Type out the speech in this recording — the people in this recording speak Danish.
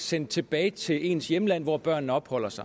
sendt tilbage til ens hjemland hvor børnene opholder sig